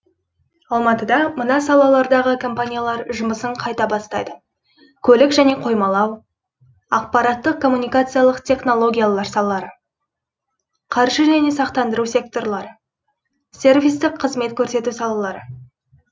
алматыда мына салалардағы компаниялар жұмысын қайта бастайды көлік және қоймалау ақпараттық коммуникациялық технологиялар салалары қаржы және сақтандыру секторлары сервистік қызмет көрсету салалары